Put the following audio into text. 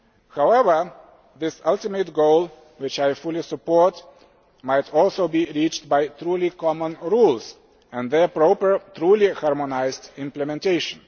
However, this ultimate goal, which I fully support, might also be reached by truly common rules and their proper truly harmonised implementation.